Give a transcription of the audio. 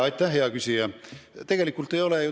Aitäh, hea küsija!